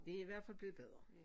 Det i hvert fald blevet bedre